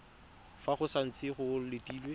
fa go santse go letilwe